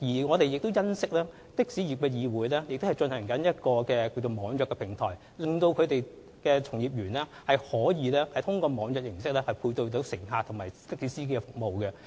我們欣悉香港的士業議會正在構建網約平台，令從業員可以利用網約形式，配對乘客與的士服務。